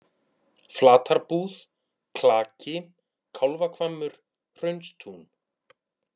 Flatarbúð, Klaki, Kálfahvammur, Hraunstún